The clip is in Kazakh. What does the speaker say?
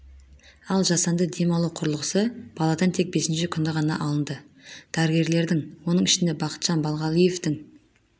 ал жасанды дем алу құрылғысы баладан тек бесінші күні ғана алынды дәрігерлердің оның ішінде бақытжан балғалиевтің